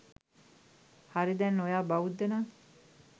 හරි දැන් ඔයා බෞද්ධ නං